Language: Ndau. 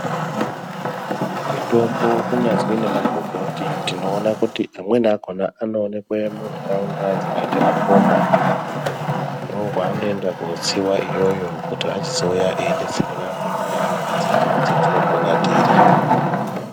Mitombo kunyazwi nemagomboti tinoona kuti amweni akhona anookwe mundaraunda dzakaite makomo ndkwaanoenda kotsiwa iyoyo kuti achizouya eidetsere vantu mundaraunda dzedu dzetinopona tiri.